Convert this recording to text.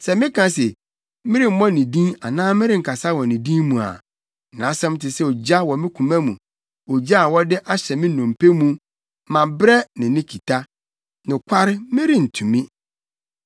Sɛ meka se, “Meremmɔ ne din anaa merenkasa wɔ ne din mu” a, nʼasɛm te sɛ ogya wɔ me koma mu, ogya a wɔde ahyɛ me nnompe mu, mabrɛ ne ne kita nokware, merentumi.